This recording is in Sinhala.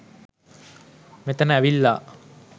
මෙතන ඇවිල්ලා